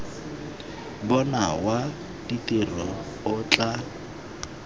bona wa ditiro o tla